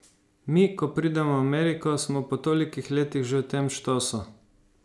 Mi, ko pridemo v Ameriko, smo po toliko letih že v tem štosu.